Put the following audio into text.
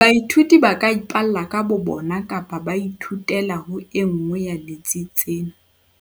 Baithuti ba ka ipalla ka bo bona kapa ba ithutela ho e nngwe ya ditsi tse.